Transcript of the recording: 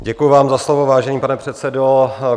Děkuji vám za slovo, vážený pane předsedo.